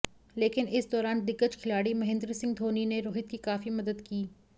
लेकिन इस दौरान दिग्गज खिलाड़ी महेन्द्र सिंह धोनी ने रोहित की काफी मदद की